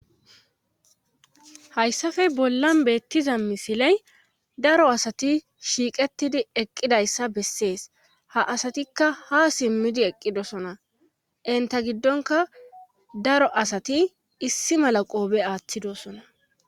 hayssafe bollan beettiza misiley daro asati shiiqettidi eqqidayssa bessees ha asatikka ha simmidi eqqidosona inta giddonka daro asati issi mala qoobe aaththidosona